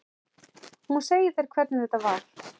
Hún segir þér hvernig þetta var.